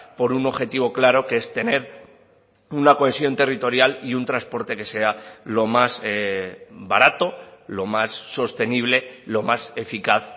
por un objetivo claro que es tener una cohesión territorial y un transporte que sea lo más barato lo más sostenible lo más eficaz